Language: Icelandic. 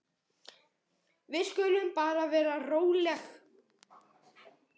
Við skulum bara vera róleg.